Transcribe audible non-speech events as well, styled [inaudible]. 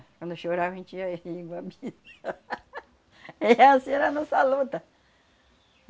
Quando chorava, a gente ia ria... [unintelligible] [laughs] E essa era a nossa luta.